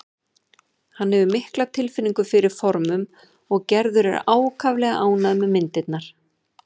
Hann hefur mikla tilfinningu fyrir formum og Gerður er ákaflega ánægð með myndirnar.